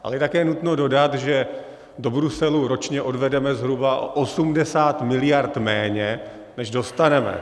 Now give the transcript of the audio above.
Ale je také nutno dodat, že do Bruselu ročně odvedeme zhruba 80 mld. méně, než dostaneme.